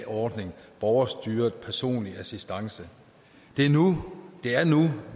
ordning borgerstyret personlig assistance det er nu er nu